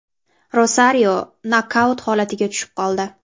Rosario nokaut holatiga tushib qoldi.